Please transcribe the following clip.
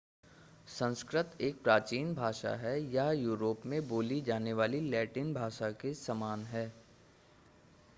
संस्कृत एक प्राचीन भाषा है यह यूरोप में बोली जाने वाली लैटिन भाषा के समान है